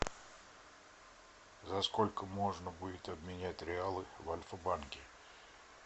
за сколько можно будет обменять реалы в альфа банке